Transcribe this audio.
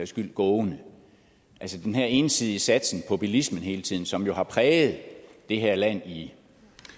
skyld gående altså den her ensidige satsning på bilismen hele tiden som jo har præget det her land i